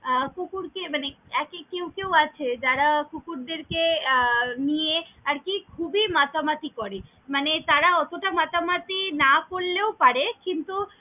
আহ কুকুর কে মানে একে কেউ কেউ আছে যারা কুকুরদের কে আহ নিয়ে আরকি খুবই মাতামাতি করে মানে তারা অতা মাতামাতি না করলেও পারে কিন্তু।